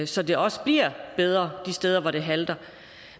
så det også bliver bedre de steder hvor det halter